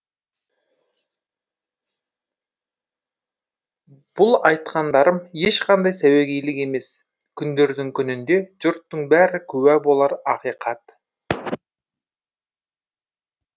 бұл айтқандарым ешқандай сәуегейлік емес күндердің күнінде жұрттың бәрі куә болар ақиқат